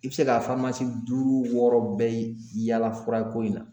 I bɛ se ka duuru wɔɔrɔ bɛɛ yaala furako in na